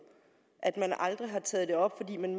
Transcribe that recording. at man aldrig har taget det op fordi man